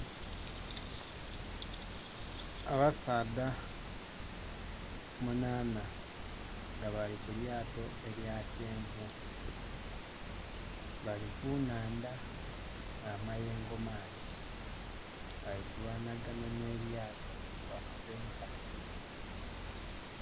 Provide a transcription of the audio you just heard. Abasaadha munaana nga bali kulyato elya kyenvu bali ku nhandha nga amayengo mangi bali kulwana ganha nhe lyato bwe bakuba enkasi.